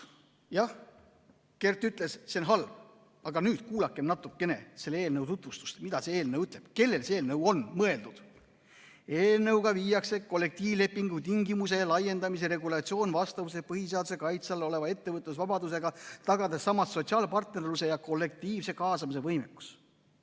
Jah, Kert ütles, et see on halb, aga nüüd kuulakem natukene selle eelnõu tutvustust, seda, kellele see eelnõu on mõeldud: "Eelnõuga viiakse kollektiivlepingu tingimuse laiendamise regulatsiooni vastavusse põhiseaduse kaitse all oleva ettevõtlusvabadusega, tagades samas sotsiaalpartnerluse ja kollektiivse kaasamise võimekus.